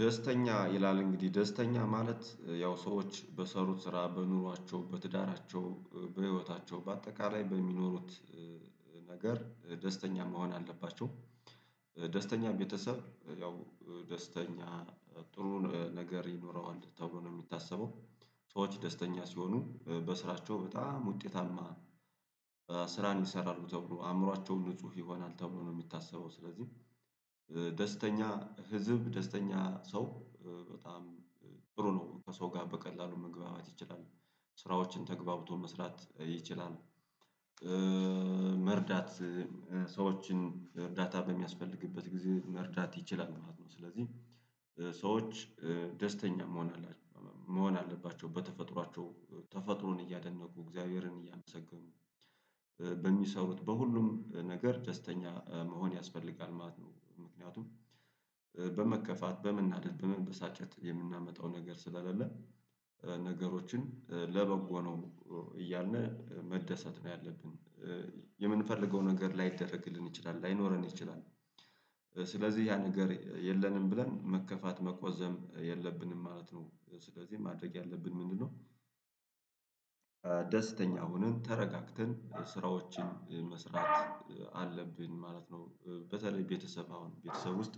ደስተኛ ይላል እንግዲህ ደስተኛ ማለት ያው ሰዎች በሰሩት ስራ በኑሯቸው በትዳራቸው በህይወታቸው በአጠቃላይ በሚኖሩት ነገር ደስተኛ መሆን አለባቸው። ደስተኛ ቤተሰብ ያው ደስተኛ ጥሩ ነገር ይኖረዋል ተብሎ ነው የሚታሰበው። ሰዎች ደስተኛ ሲሆኑ በስራቸው በጣም ውጤታማ ስራን ይሰራሉ ተብሎ አእምሯቸውን ንጹህ ይሆናል ተብሎ ነው የሚታሰበው። ስለዚህ ደስተኛ ህዝብ ደስተኛ ሰው በጣም ጥሩ ነው ከሰው ጋር በቀላሉ መግባባት ይችላል ስራዎችን ተግባብቶ መስራት ይችላል። መርዳት ሰዎችን እርዳታ በሚያስፈልግበት ጊዜ መርዳት ይችላል ማለት ነው። ስለዚህ ሰዎች ደስተኛ መሆን አለባቸው በተፈጥሯቸው ተፈጥሮን እያደነቁ እግዚአብሔርን እያመሰገኑ በሚሰሩት በሁሉም ነገር ደስተኛ መሆን ያስፈልጋል ማለት ነው። ምክንያቱም በመከፋት በመናደድ በመንበሳጨት የምናመጣው ነገር ስለሌለ። ነገሮችን ለበጎ ነው እያልን መደሰት ነው ያለብን። የምንፈልገው ነገር ላይደረግልን ይችላል ላይኖረን ይችላል። ስለዚህ ያ ነገር የለንም ብለን መከፋት መቆዘም የለብንም ማለት ነው። ስለዚህ ማድረግ ያለብን ምንድነው? ደስተኛ ሆነን ተረጋግተን ስራዎችን መስራት አለብን ማለት ነው። በተለይ ቤተሰብ አሁን ቤተሰብ ውስጥ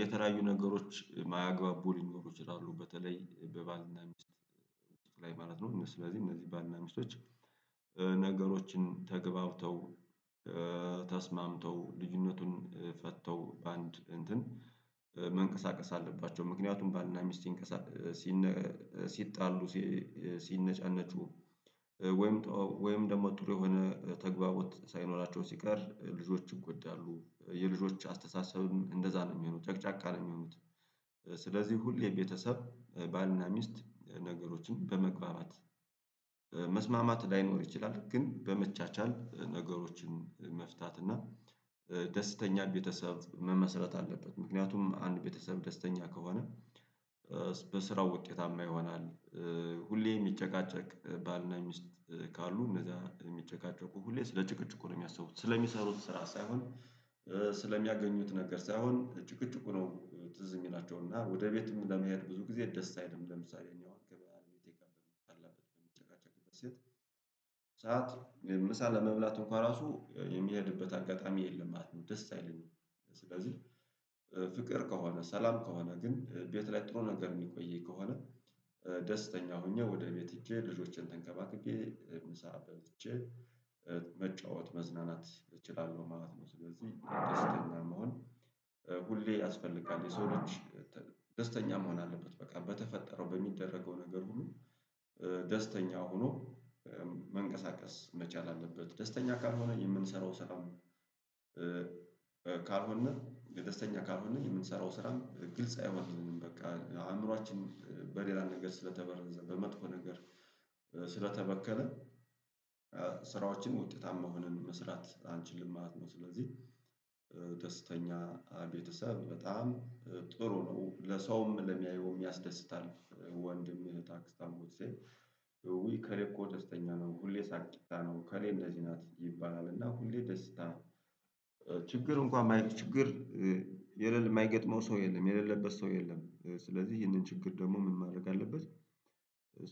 የተለያዩ ነገሮች ማያግባቡ ሊኖሩ ይችላሉ። በተለይ በባልና ሚስት ላይ ማለት ነው ስለዚህ እነዚህ ባልና ሚስቶች ነገሮችን ተግባብተው ተስማምተው ልዩነቱን ፈተው በአንድ እንትን መንቀሳቀስ አለባቸው። ምክንያቱም ባልና ሚስን ሲጣሉ ሲነጫነጩ ወይም ወይም ደግሞ ጥሩ የሆነ ተግባቦት ሳይኖራቸው ሲቀር ልጆች ይጎዳሉ የልጆች አስተሳሰብም እንደዛ ነው የሚሆኑት ጨቅጫቃ ነው የሚሆኑት። ስለዚህ ሁሌ የቤተሰብ ባልና ሚስት ነገሮችን በመግባባት መስማማት ላይኖር ይችላል። ግን በመቻቻል ነገሮችን መፍታት እና ደስተኛ ቤተሰብ መመስረት አለበት። ምክንያቱም አንድ ቤተሰብ ደስተኛ ከሆነ በስራው ውጤታማ ይሆናል። ሁሌ የሚጨቃጨቅ ባልና ሚስት ካሉ እንደዛ የሚጨቃጨቁ ሁሌ ስለ ጭቅጭቁ ነው የሚያስቡት ስለሚሰሩት ስራ ሳይሆን ስለሚያገኙት ነገር ሳይሆን ጭቅጭቁ ነው ትዝ የሚላቸው እና ወደ ቤትም ለመሄድ ብዙ ጊዜ ደስ አይልም። ለምሳሌ እኔ አሁን ከባለቤቴ ጋር በምጣላበት በምጨቃጨቅበት ሰዓት ምሳ ለመብላት እንኳን ራሱ የሚሄድበት አጋጣሚ የለም ማለት ነው። ደስ አይለኝም። ስለዚህ ፍቅር ከሆነ ሰላም ከሆነ ግን ቤት ላይ ጥሩ ነገር የሚቆየኝ ከሆነ ደስተኛ ሆኜ ወደ ቤት ሄጄ ልጆቼን ተንከባከቤ ምሳ በልቼ መጫወት መዝናናት እችላለሁ ማለት ነው። ስለዚህ ደስተኛ መሆን ሁሌ ያስፈልጋል። የሰው ልጅ ደስተኛ መሆን አለበት በቃ በተፈጠረው በሚደረገው ነገር ሁሉ ደስተኛ ሆኖ መንቀሳቀስ መቻል አለበት። ደስተኛ ካልሆነ የምንሰራው ስራም ካልሆነ የደስተኛ ካልሆነ የምንሰራው ስራም ግልጽ አይሆንልንም። በቃ አእምሮአችን በሌላ ነገር ስለተበረዘ በመጥፎ ነገር ስለተበከለ ስራዎችን ውጤታማ ሆንን መስራት አንችልም ማለት ነው። ስለዚህ ደስተኛ ቤተሰብ በጣም ጥሩ ነው ለሰውም ለሚያየውም ያስደስታል። ወንድም እህት አክስት አጎት ስል ውይ ከሌኮ ደስተኛ ነው ሁሌ ሳቂታ ነው ከሌ እንደዚህ ናት ይባላል። እና ሁሌ ደስታ ችግር እንኳን ማየት ችግር የማይገጥመው ሰው የለም የሌለበት ሰው የለም። ስለዚህ ይህንን ችግር ደግሞ ምን ማድረግ አለበት?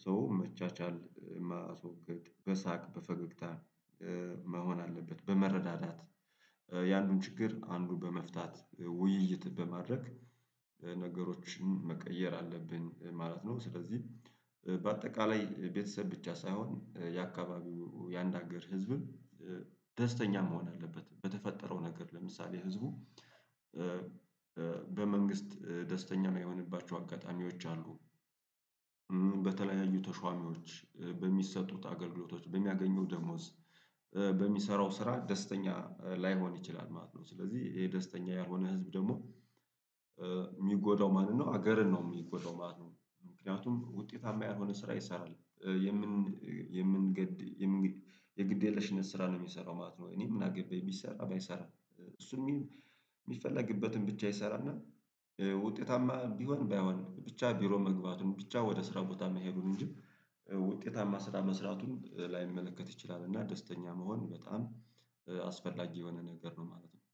ሰው መቻቻል የማስወገድ በሳቅ በፈገግታ መሆን አለበት። በመረዳዳት ያንን ችግር አንዱ በመፍታት ውይይት በማድረግ መቀየር አለብን ማለት ነው። ስለዚህ በአጠቃላይ ቤተሰብ ብቻ ሳይሆን የአካባቢው ያንድ ሀገር ህዝብም ደስተኛ መሆን አለበት። በተፈጠረው ነገር ለምሳሌ ህዝቡ በመንግስት ደስተኛ እማይሆነባቸው አጋጣሚዎች አሉ። በተለያዩ ተሿሚዎች በሚሰጡት አገልግሎቶች በሚያገኘው ደሞዝ በሚሰራው ስራ ደስተኛ ላይሆን ይችላል ማለት ነው። ስለዚህ ይሄ ደስተኛ ያልሆነ ህዝብ ደግሞ የሚጎዳው ነው ሀገርን ነው የሚጎዳው ማለት ነው። ምክንያቱም ውጤታማ ያልሆነ ስራ ይሰራል የምን የምንገድ የምንገድ የግድ የለሽነት ስራ ነው የሚሰራው ማለት ነው። እኔ ምን አገባኝ ቢሰራ ባይሰራ። እሱም እሚፈለግበትን ብቻ ይሰራና ውጤታማ ቢሆን ባይሆን ብቻ ቢሮ መግባቱን ብቻ ወደ ስራ ቦታ መሄዱን ውጤታማ ስራ መስራቱን ላይመለከት ይችላል። እና ደስተኛ መሆን በጣም አስፈላጊ የሆነ ነገር ነው ማለት ነው